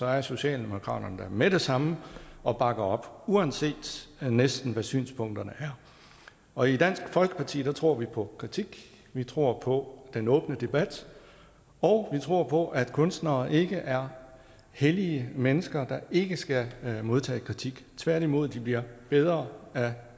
er socialdemokraterne der med det samme og bakker op uanset næsten hvad synspunkterne er og i dansk folkeparti tror vi på kritik vi tror på den åbne debat og vi tror på at kunstnere ikke er hellige mennesker der ikke skal modtage kritik tværtimod bliver de bedre af